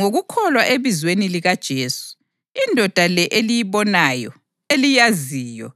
Ngokukholwa ebizweni likaJesu, indoda le eliyibonayo, eliyaziyo,